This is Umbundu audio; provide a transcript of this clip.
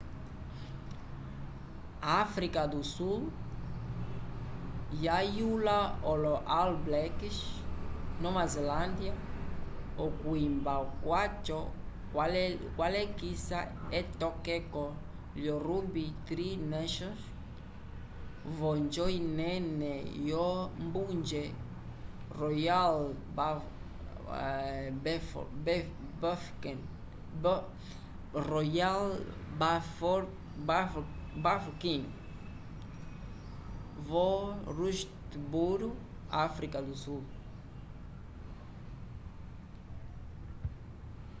áfrica do sul yayula olo all blacks nova zelândia okwimba kwaco kwalekisa etokeko lyo ruby tri nations v’onjo inene yombunje royal bafokeng vo rustemburo áfrica do sul